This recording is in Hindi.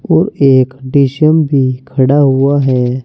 और एक डी_सी_एम भी खड़ा हुआ है।